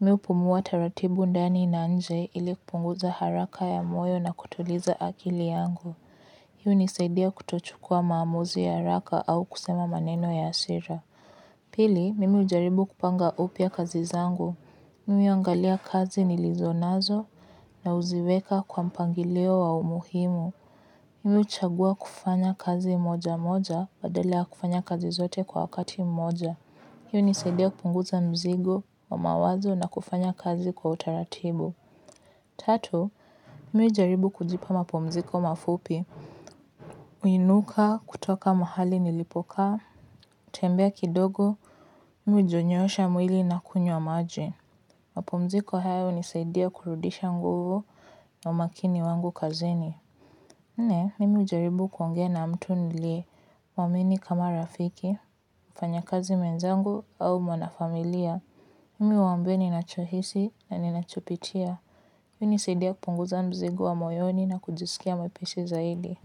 Mimi hupumua taratibu ndani na nje ili kupunguza haraka ya moyo na kutuliza akili yangu. Hii hunisaidia kutochukua maamuzi ya haraka au kusema maneno ya hasira. Pili, mimi hujaribu kupanga upya kazi zangu. Mimi huangalia kazi nilizonazo na huziweka kwa mpangilio wa umuhimu. Mimi huchagua kufanya kazi moja moja badala ya kufanya kazi zote kwa wakati moja. Hii hunisaidia kupunguza mzigo wa mawazo na kufanya kazi kwa utaratibu. Tatu, mimi hujaribu kujipa mapumziko mafupi. Huinuka kutoka mahali nilipoka, kutembea kidogo, mimi hujinyoosha mwili na kunywa maji. Mapomziko haya hunisaidia kurudisha nguvu wa umakini wangu kazini. Nne, mimi hujaribu kuongea na mtu niliyemwamini kama rafiki, mfanyakazi mwenzangu au mwanafamilia. Mimi humwambia ninacho hisi na ninacho pitia hii husaidia kupunguza mzigo wa moyoni na kujisikia mwepesi zaidi.